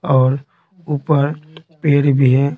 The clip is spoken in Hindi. और ऊपर पेड़ भी है।